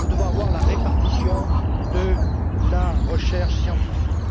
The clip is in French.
Nous devons veiller à la répartition de la recherche scientifique.